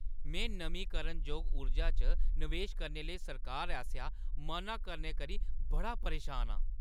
में नमींकरणजोग ऊर्जा च नवेश करने लेई सरकार आसेआ मना करने करी बड़ा परेशान आं।